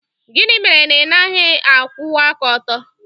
Gịnị mere na ị naghị akwụwa aka ọtọ?